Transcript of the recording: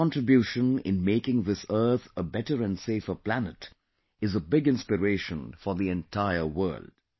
India's contribution in making this earth a better and safer planet is a big inspiration for the entire world